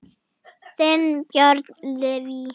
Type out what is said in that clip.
Þinn, Björn Leví.